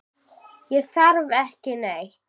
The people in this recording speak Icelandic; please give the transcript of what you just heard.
Ég þarf ekki neitt.